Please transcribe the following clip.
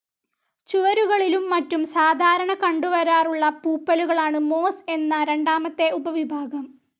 ചുവരുകളിലും മറ്റും സാധാരണ കണ്ടുവരാറുള്ള പൂപ്പലുകളാണ് മോസ്‌ എന്ന രണ്ടാമത്തെ ഉപവിഭാഗം.